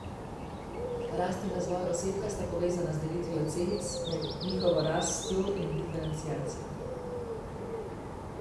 Rast in razvoj osebka sta povezana z delitvijo celic, njihovo rastjo in diferenciacijo.